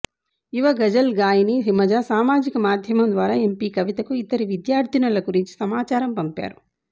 యువ గజల్ గాయిని హిమజా సామాజిక మాధ్యమం ద్వారా ఎంపీ కవితకు ఇద్దరి విద్యార్ధినుల గురించి సమాచారం పంపారు